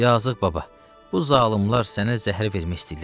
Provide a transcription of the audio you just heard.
Yazıq baba, bu zalımlar sənə zəhəri vermək istəyirlər.